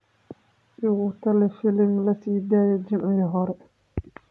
igu tali filim la sii daayay Jimcihii hore